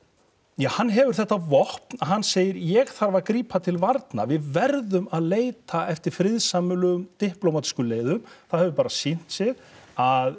ja hann hefur þetta vopn hann segir ég að grípa til varna við verðum að leita eftir friðsamlegum diplómatískum leiðum það hefur bara sýnt sig að